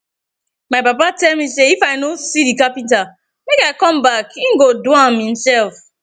my papa tell me say if i no see the carpenter make i come back he go do am himself